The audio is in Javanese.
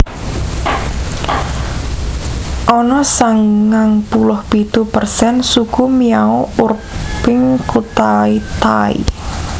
Ana sangang puluh pitu persen Suku Miao urping kutha Tai